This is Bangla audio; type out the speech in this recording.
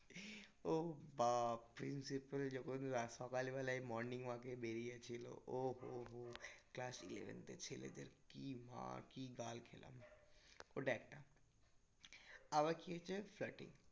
ও বাপ principle যখন সকালবেলায় morning walk এ বেরিয়েছিলো ও হো হো class eleventh এর ছেলেদের কি মা কি গাল খেলাম ওটা একটা. আবার কি হয়েছে flirting